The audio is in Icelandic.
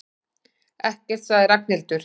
Ekkert sagði Ragnhildur.